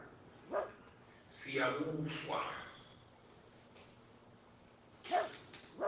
siyabuswa